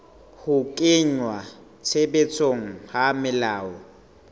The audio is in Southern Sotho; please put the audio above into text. ho kenngwa tshebetsong ha melao